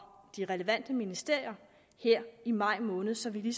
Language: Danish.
de relevante ministerier her i maj måned så vi